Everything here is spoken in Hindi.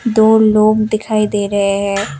दो लोग दिखाई दे रहे हैं।